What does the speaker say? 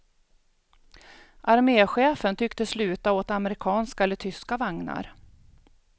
Armechefen tycktes luta åt amerikanska eller tyska vagnar.